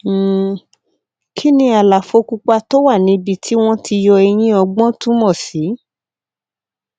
um kí ni àlàfo pupa tó wà níbi tí wọn ti yọ eyín ọgbọn túmọ sí